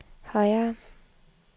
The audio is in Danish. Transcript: højere